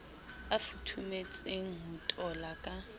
a futhumetseng ho tola ka